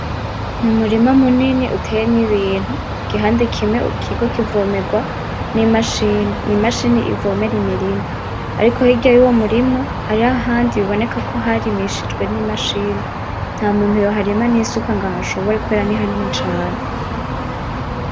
Umurima munini uteyemwo ibintu, igihande kimwe kiriko kivomerwa ni machine, imachine ivomera imirima, ariko hirya yuyo murima hariho ahandi biboneka ko harimishijewe ni machine, ntamuntu yoharima nisuka ngo ahashobore kubera nihanini cane.